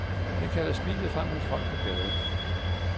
Den kalder smilet frem hos folk på gaden.